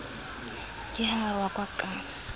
ke ha a rohakwa ka